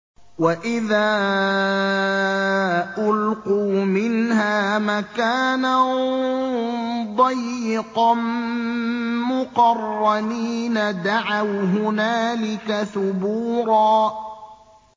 وَإِذَا أُلْقُوا مِنْهَا مَكَانًا ضَيِّقًا مُّقَرَّنِينَ دَعَوْا هُنَالِكَ ثُبُورًا